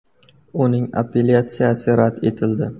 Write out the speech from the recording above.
Uning apellyatsiyasi rad etildi.